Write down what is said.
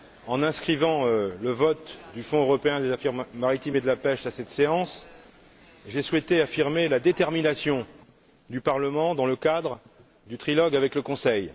En inscrivant le vote du Fonds européen des affaires maritimes et de la pêche à cette séance, j'ai souhaité affirmer la détermination du Parlement dans le cadre du trilogue avec le Conseil.